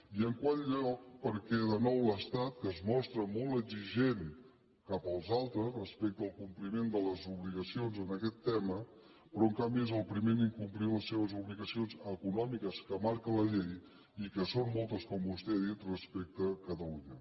i en quart lloc perquè de nou l’estat que es mostra molt exigent cap als altres respecte al compliment de les obligacions en aquest tema però en canvi és el primer a incomplir les seves obligacions econòmiques que marca la llei i que són moltes com vostè ha dit respecte a catalunya